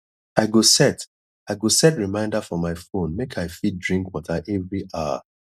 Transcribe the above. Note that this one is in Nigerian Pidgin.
i go set i go set reminder for my phone make i fit drink water every hour